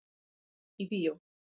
Nýtt í bíó